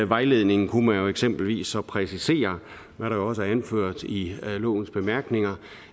vejledningen kunne man eksempelvis så præcisere hvad der også er anført i lovens bemærkninger